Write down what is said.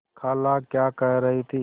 खाला क्या कह रही थी